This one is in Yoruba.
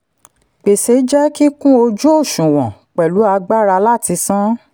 gbèsè jẹ́ kíkún ojú-òṣùwọ̀n pẹ̀lú agbára láti san.